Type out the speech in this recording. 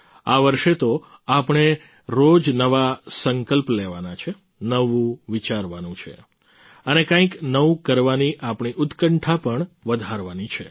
આ વર્ષે તો આપણે રોજ નવા સંકલ્પ લેવાના છે નવું વિચારવાનું છે અને કંઈક નવું કરવાની આપણી ઉત્કંઠા પણ વધારવાની છે